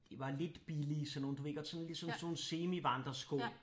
Det var lidt billige sådan nogle du ved godt sådan ligesom sådan nogle semivandresko